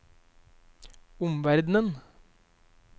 omverden